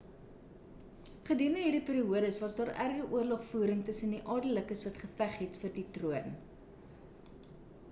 gedurende hierdie periodes was daar erge oorlogvoering tussen baie adellikes wat geveg het vir die troon